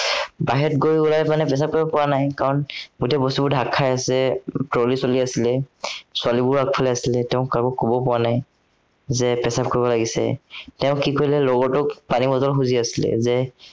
বাহিৰত গৈ উলাই পেলাই প্ৰসাৱ কৰিব পৰা নাই, কাৰন গোটেই বস্তুবোৰ ঢাক খাই আছে, trolley চলি আছিলে ছোৱালীবোৰ আগফালে আছিলে, তেওঁ কাকো কব পৰা নাই যে প্ৰসাৱ কৰিব লাগিছে, তেওঁ কি কৰিলে লগৰটোক সি মানে শুই আছিলে